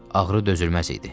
Ağrı dözülməz idi.